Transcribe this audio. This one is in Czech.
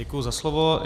Děkuji za slovo.